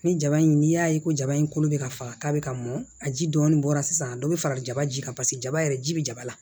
Ni jaba in n'i y'a ye ko jaba in kolo bɛ ka faga k'a bɛ ka mɔn a ji dɔɔnin bɔra sisan dɔ bɛ fara jaba ji kan paseke jaba yɛrɛ ji bɛ jaba la